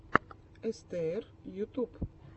эстээр ютуб